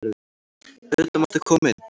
Auðvitað máttu koma inn.